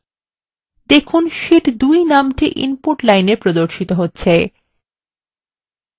দেখুন শীট 2 নামটি input line এ প্রদর্শিত হচ্ছে